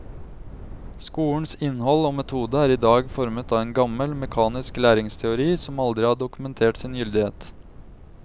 Skolens innhold og metode er i dag formet av en gammel, mekanisk læringsteori som aldri har dokumentert sin gyldighet.